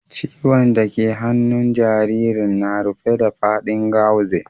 Ciwon' da ke a hannun jaririn na rufe da fadin gauze.